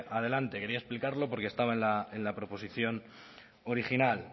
adelante y quería explicarlo porque estaba en la proposición original